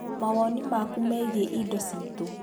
Mawoni maku megiĩ indo citu